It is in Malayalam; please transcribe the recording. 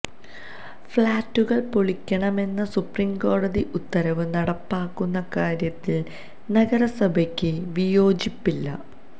ഫ്ളാറ്റുകള് പൊളിക്കണമെന്ന സുപ്രിംകോടതി ഉത്തരവ് നടപ്പാക്കുന്ന കാര്യത്തില് നഗരസഭയ്ക്ക് വിയോജിപ്പില്ല